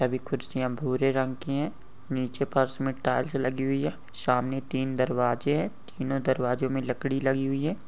सभी खुर्चिया भूरे रंग की है नीचे फर्श मे टाइल्स लगी हुई है सामने तीन दरवाजे है तीनो दरवाजे मे लकड़ी लगी हुई है।